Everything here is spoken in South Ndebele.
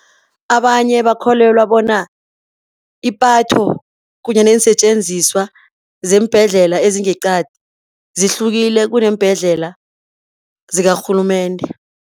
Abanye bakholelwa bona ipatho kunye neensetjenziswa zeembhedlela ezingeqadi zihlukile kuneembhedlela zikarhulumende.